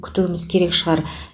күтуіміз керек шығар